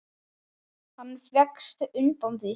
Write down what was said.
Hann vékst undan því.